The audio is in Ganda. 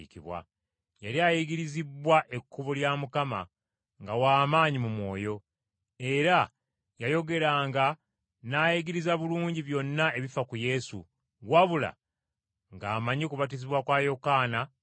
Yali ayigirizibbwa Ekkubo lya Mukama, nga w’amaanyi mu mwoyo, era yayogeranga n’ayigiriza bulungi byonna ebifa ku Yesu, wabula ng’amanyi kubatizibwa kwa Yokaana kwokka.